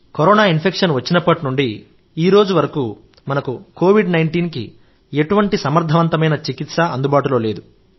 corona infection వచ్చినప్పటి నుండి ఈ రోజు వరకు మనకు కోవిడ్ 19 కి ఎటువంటి సమర్థవంతమైన చికిత్స అందుబాటులో లేదు